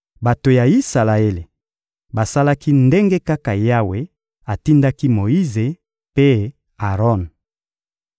Bato ya Isalaele basalaki ndenge kaka Yawe atindaki Moyize mpe Aron.